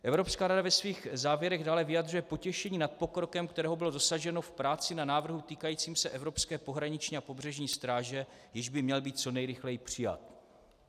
Evropská rada ve svých závěrech dále vyjadřuje potěšení nad pokrokem, kterého bylo dosaženo v práci na návrhu týkajícím se evropské pohraniční a pobřežní stráže, jenž by měl být co nejrychleji přijat.